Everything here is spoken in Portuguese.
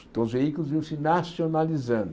Então, os veículos iam se nacionalizando.